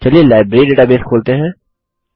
चलिए library database खोलते हैं